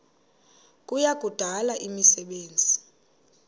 kuya kudala imisebenzi